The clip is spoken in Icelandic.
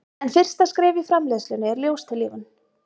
en fyrsta skref í framleiðslunni er ljóstillífun